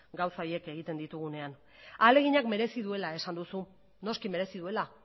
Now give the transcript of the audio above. gauza horiek egiten ditugunean ahaleginak merezi duela esan duzu noski merezi duela